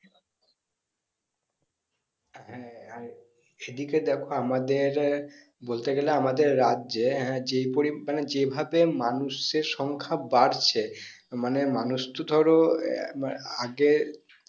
হ্যাঁ আর সেদিকে দেখো আমাদের বলতে গেলে আমাদের রাজ্যে হ্যাঁ যে পরিমান মানে যেভাবে মানুষ এর সংখ্যা বারছে মানে মাউস তো ধরো অয়া আগে